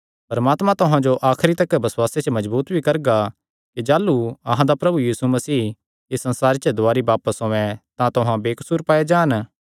परमात्मा तुहां जो आखरी तिकर बसुआसे च मजबूत भी करगा कि जाह़लू अहां दा प्रभु यीशु मसीह इस संसारे दुवारी बापस औयें तां तुहां बेकसूर पाये जान